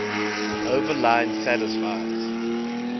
overline satisfies